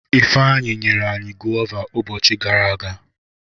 Ifeanyi nyere anyi gọva ubochi gara aga.